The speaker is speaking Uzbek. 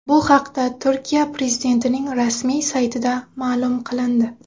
Bu haqda Turkiya prezidentining rasmiy saytida ma’lum qilindi .